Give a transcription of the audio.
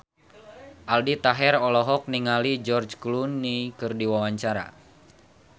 Aldi Taher olohok ningali George Clooney keur diwawancara